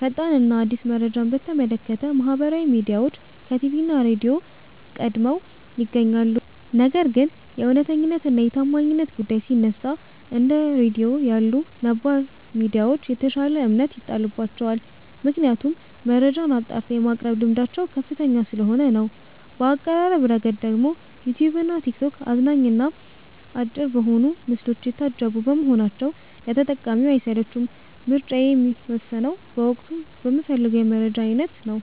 ፈጣን እና አዲስ መረጃን በተመለከተ ማህበራዊ ሚዲያዎች ከቲቪ እና ራድዮ ቀድመው ይገኛሉ። ነገር ግን የእውነተኛነት እና የታማኝነት ጉዳይ ሲነሳ፣ እንደ ራድዮ ያሉ ነባር ሚዲያዎች የተሻለ እምነት ይጣልባቸዋል። ምክንያቱም መረጃን አጣርተው የማቅረብ ልምዳቸው ከፍተኛ ስለሆነ ነው። በአቀራረብ ረገድ ደግሞ ዩትዩብ እና ቲክቶክ አዝናኝ እና አጭር በሆኑ ምስሎች የታጀቡ በመሆናቸው ለተጠቃሚው አይሰለቹም። ምርጫዬ የሚወሰነው በወቅቱ በምፈልገው የመረጃ አይነት ነው።